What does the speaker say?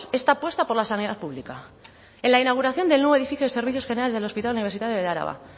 esta apuesta por la sanidad pública en la inauguración del nuevo edificio de servicios generales del hospital universitario de araba